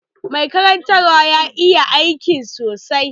Mai karantawa ya iya aikin sa sosai